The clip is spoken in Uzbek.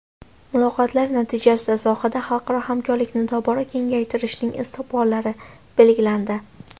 Muloqotlar natijasida sohada xalqaro hamkorlikni tobora kengaytirishning istiqbollari belgilandi.